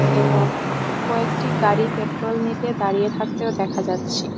এবং কয়েকটি গাড়ি পেট্রোল নিতে দাঁড়িয়ে থাকতেও দেখা যাচ্ছে।